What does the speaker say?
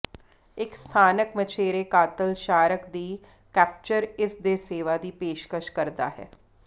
ਇਕ ਸਥਾਨਕ ਮਛੇਰੇ ਕਾਤਲ ਸ਼ਾਰਕ ਦੀ ਕੈਪਚਰ ਇਸ ਦੇ ਸੇਵਾ ਦੀ ਪੇਸ਼ਕਸ਼ ਕਰਦਾ ਹੈ